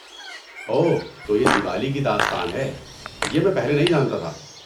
اوہ، تو یہ دیوالی کی داستان ہے۔ یہ میں پہلے نہیں جانتا تھا۔